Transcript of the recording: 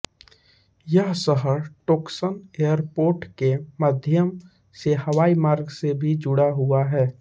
यह शहर Toksun airport के माध्यम से हवाई मार्ग से भी जुड़ा हुआ है